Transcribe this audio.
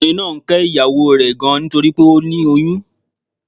Ọkùnrin náà ń ké ìyàwó o rè gan nítorípé ó ti lóyún